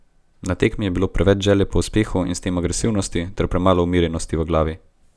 Na tekmi je bilo preveč želje po uspehu in s tem agresivnosti ter premalo umirjenosti v glavi.